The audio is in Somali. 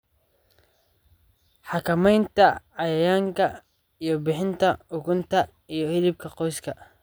Xakamaynta cayayaanka iyo bixinta ukunta iyo hilibka qoyska.